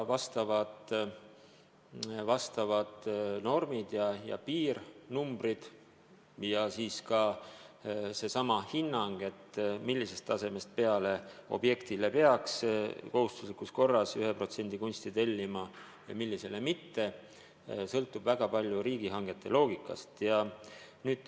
Asjaomased piirsummad ja ka hinnang, millisest hinnatasemest peale peaks objektile kohustuslikus korras selle maksumusest 1% ulatuses kunsti tellima, sõltub väga palju riigihangete loogikast.